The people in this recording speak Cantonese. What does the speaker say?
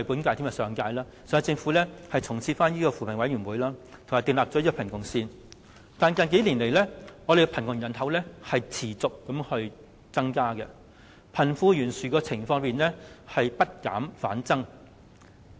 主席，雖然上屆政府已重設扶貧委員會並定立貧窮線，但近數年，香港的貧窮人口持續增加，貧富懸殊的情況不減反增。